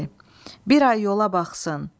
Bir ay yola baxsın.